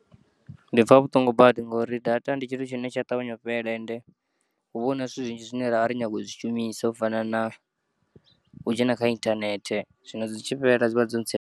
Ndi pfa vhuṱungu badi ngauri data ndi tshithu tshine tsha ṱavhanya u fhela ende huvha huna zwithu zwinzhi zwine ravha ri kho nyaga u zwi shumisa u fana na u dzhena kha inthanethe zwino dzi tshi fhela dzivha dzo ntsia.